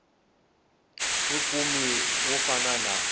wi kumi wo fana na